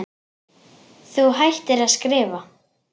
Þú hættir að skrifa.